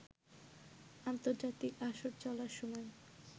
আন্তর্জাতিক আসর চলার সময়